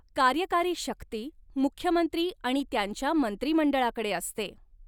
कार्यकारी शक्ती मुख्यमंत्री आणि त्यांच्या मंत्रिमंडळाकडे असते.